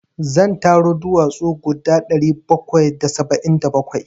Zan taro duwatsu guda ɗari bakwai da saba'in da bakwai.